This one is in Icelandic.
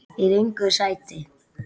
Í röngu sæti.